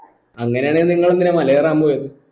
അങ്ങനെയാണെങ്കിൽ നിങ്ങളെന്തിനാ മല കയറാൻ പോയത്